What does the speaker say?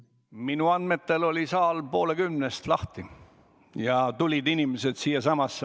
Minu andmetel oli saal poole kümnest lahti ja inimesed tulid siia.